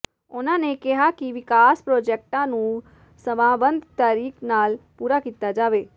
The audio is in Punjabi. ਉਨਾਂ ਨੇ ਕਿਹਾ ਕਿ ਵਿਕਾਸ ਪ੍ਰੋਜੈਕਟਾਂ ਨੂੰ ਸਮਾਂਬੱਧ ਤਰੀੇਕ ਨਾਲ ਪੂਰਾ ਕੀਤਾ ਜਾਵੇ